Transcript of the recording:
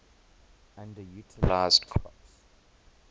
underutilized crops